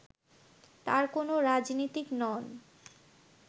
তার কোন রাজনীতিক নন